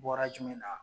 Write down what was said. Bɔra jumɛn na